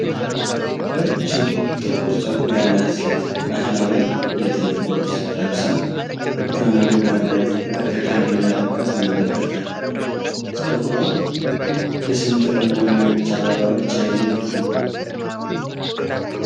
ረዥም ጥቁር ፀጉር ያላት ሴት ባህላዊ የጥልፍ ልብስ ለብሳ፣ እጇን አገጯ ላይ አድርጋ ከካሜራ ርቃ ትመለከታለች። ፀጉሯ በስንጥርና በነጭ አበባዎች ያጌጠ ነው።